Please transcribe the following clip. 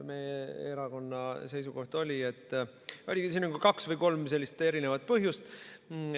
Meie erakonna seisukoht oli, et siin on kaks või kolm põhjust.